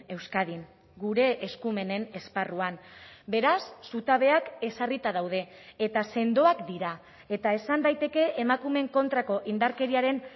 euskadin gure eskumenen esparruan beraz zutabeak ezarrita daude eta sendoak dira eta esan daiteke emakumeen kontrako indarkeriaren